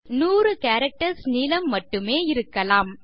அது 100 கேரக்டர்ஸ் நீளம் மட்டுமே இருக்கலாம்